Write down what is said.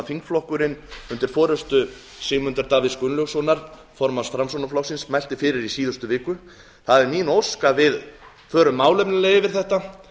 þingflokkurinn undir forustu sigmundar davíðs gunnlaugssonar formanns framsóknarflokksins mælti fyrir í síðustu viku það er mín ósk að við förum málefnalega yfir þetta